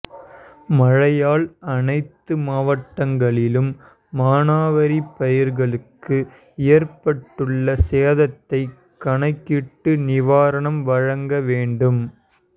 மழையால் அனைத்து மாவட்டங்களிலும் மானாவாரி பயிர்களுக்கு ஏற்பட்டுள்ள சேதத்தை கணக்கி்ட்டு நிவாரணம் வழங்க வேண்டும்